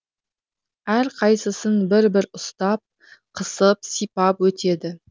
әрқайсысын бір бір ұстап қысып сипап өтеді